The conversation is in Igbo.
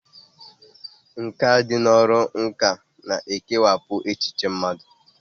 Nkà dị n'ọrụ nkà na-ekewapụ echiche mmadụ.